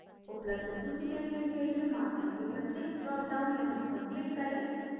उपलब्ध सूची देखने के लिए marker के प्रत्येक drop down menu पर click करें